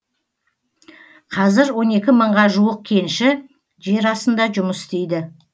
қазір он екі мыңға жуық кенші жер астында жұмыс істейді